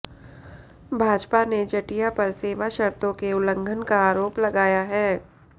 भाजपा ने जटिया पर सेवा शर्तों के उल्लंघन का आरोप लगाया है